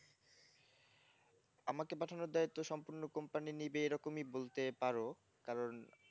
আমাকে পাঠানোর দায়িত্ব সম্পন্ন company নেবে এরকম বলতে পারো কারণ